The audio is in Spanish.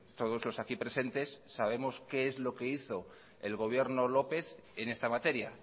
todos los aquí presentes sabemos qué es lo que hizo el gobierno lópez en esta materia